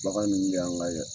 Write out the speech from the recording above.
Bagan nunnu de yan ka